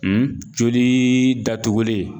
joli datugulen